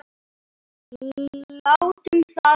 Látum það vera.